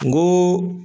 N ko